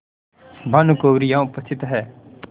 भानुकुँवरि यहाँ उपस्थित हैं